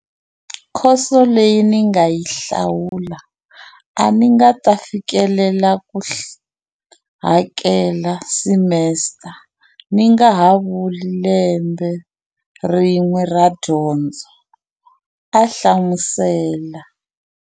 Khoso leyi ni nga yi hlawula, a ni nga ta fikelela ku hakela simesita, ni ngaha vuli lembe rin'we ra dyondzo, a hlamusela.